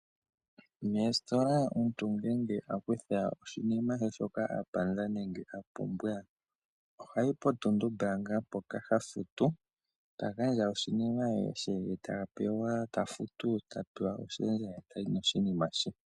Mositola omuntu ngele akutha oshinima shoka a panda nenge a pumbwa, ohayi potuntumbaanga mpoka ha futu. Ta gandja oshimaliwa she ta pewa ye ta futu, ta pewa oshendja ye tayi noshinima she.